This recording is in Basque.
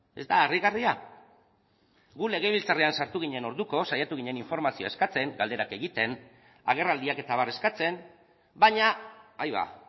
ez da harrigarria gu legebiltzarrean sartu ginen orduko saiatu ginen informazioa eskatzen galderak egiten agerraldiak eta abar eskatzen baina aiba